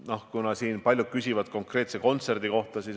Paljud on siin küsinud konkreetse kontserdi kohta.